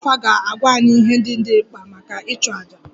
Dibia afa ga-agwa anyị ihe ndị dị mkpa maka ịchụ aja